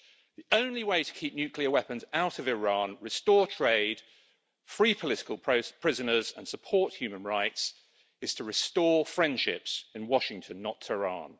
The only way to keep nuclear weapons out of Iran, restore trade, free political prisoners and support human rights is to restore friendships in Washington, not Tehran.